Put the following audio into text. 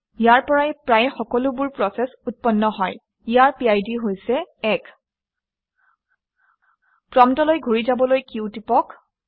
ইয়াৰ পৰাই প্ৰায় সকলোবোৰ প্ৰচেচ উৎপন্ন হয় ইয়াৰ এটা 1 বিশিষ্ট পিড আছে। প্ৰম্পটলৈ ঘূৰি যাবলৈ q টিপক